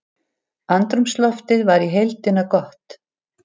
Andrúmsloftið var í heildina gott